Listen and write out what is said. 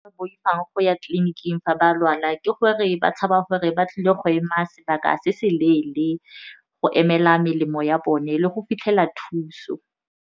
Boifang go ya tleliniking fa ba lwala ke gore ba tshaba gore ba tlile go ema sebaka se se leele go emela melemo ya bone le go fitlhela thuso.